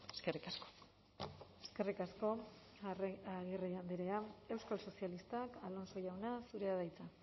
eskerrik asko eskerrik asko agirre andrea euskal sozialistak alonso jauna zurea da hitza